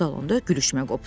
Salonda gülüşmə qopdu.